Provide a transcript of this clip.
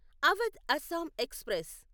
Awadh Assam express